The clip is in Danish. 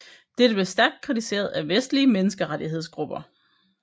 Dette blev stærkt kritiseret af vestlige menneskerettighedsgrupper